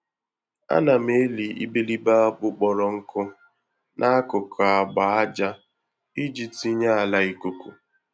Ana m eli iberibe akpu kpọrọ nkụ n'akụkụ agba-ájá iji tinye ala ikuku